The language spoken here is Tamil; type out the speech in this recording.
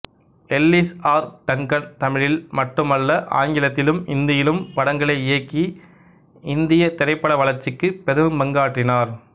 எல்லிஸ் ஆர் டங்கன் தமிழில் மட்டுமல்ல ஆங்கிலத்திலும் இந்தியிலும் படங்களை இயக்கி இந்திய திரைப்பட வளர்ச்சிக்குப் பெரும்பங்காற்றினார்